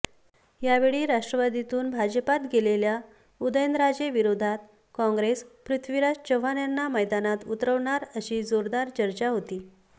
यावेळी राष्ट्रवादीतून भाजपात गेलेल्या उदयनराजेंविरोधात कॉंग्रेस पृथ्वीराज चव्हाण यांना मैदानात उतरवणार अशी जोरदार चर्चा होती